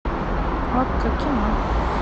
окко кино